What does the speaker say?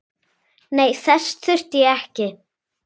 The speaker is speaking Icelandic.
Nei, þess þurfti ég ekki.